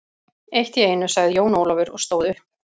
Eitt í einu, sagði Jón Ólafur og stóð upp.